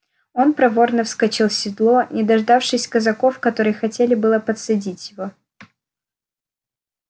он проворно вскочил в седло не дождавшись казаков которые хотели было подсадить его